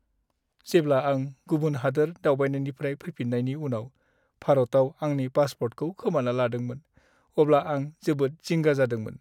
जेब्ला आं गुबुन हादोर दावबायनायनिफ्राय फैफिन्नायनि उनाव भारताव आंनि पासप'र्टखौ खोमाना लादोंमोन, अब्ला आं जोबोद जिंगा जादोंमोन।